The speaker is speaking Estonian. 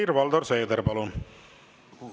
Helir-Valdor Seeder, palun!